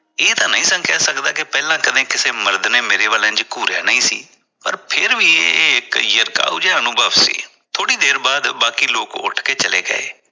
ਇਹ ਤਾਂ ਨਹੀਂ ਕਹਿ ਸਕਦਾ ਪਹਿਲਾਂ ਕਦੇ ਕਿਸੇ ਮਰਦ ਨੇ ਮੇਰੇ ਵਲ ਇੰਝ ਘੂਰਿਆ ਨਹੀ ਸੀ ਪਰ ਫਿਰ ਵੀ ਇਹ ਇਕ ਜਿਹਾ ਅਨੁਭਵ ਸੀ ਥੋੜੀ ਦੇਰ ਬਾਅਦ ਬਾਕੀ ਲੋਕ ਉਠ ਕੇ ਚਲੇ ਗਏ।